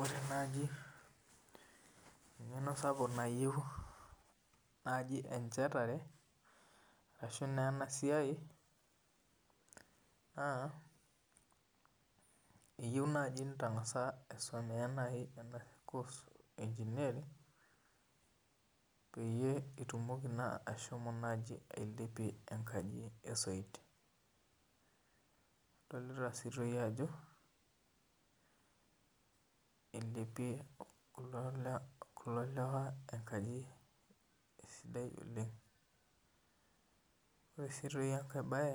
Ore naaji engeno sapuk nayieu enchetare ashu enasiai na eyieu nai nitangasa aisomea nkos e engineering peyie itumoki nai ashomo aidipie enkaji esoit adolta ajo ilepie kulo lewa enkaji esidai oleng kre si enkae bae